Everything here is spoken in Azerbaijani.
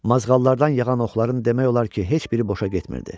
Mazğallardan yağan oxların demək olar ki, heç biri boşə getmirdi.